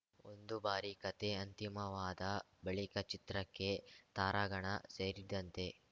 ಒಂದು ಬಾರಿ ಕಥೆ ಅಂತಿಮವಾದ ಬಳಿಕ ಚಿತ್ರಕ್ಕೆ ತಾರಾಗಣ ಸೇರಿದಂತೆ